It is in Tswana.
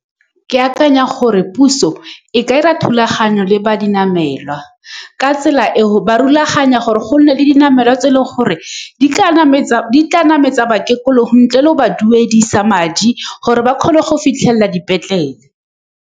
Ke akanya gore puso e ka dira thulaganyo le ba dinamelwa, ka tsela eo ba rulaganya gore go nne le dinamelwa tse e leng gore di ka nametsa, di tla nametsa bakekolo, ntle le go ba duedisa madi, gore ba kgone go fitlhelela dipetlele.